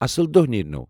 اصل دۄہ نیٖرنو ۔